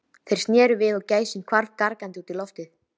Þeir sneru við og gæsin hvarf gargandi út í loftið.